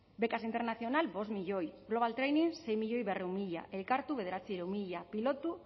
becas internacional cinco milioi global training sei milioi berrehun mila elkartu bederatziehun mila pilotu